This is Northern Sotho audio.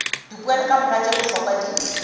dipoelo kamoka tše bohlokwa di